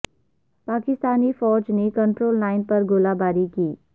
پاکستانی فوج نے control line پر گولہ باری کی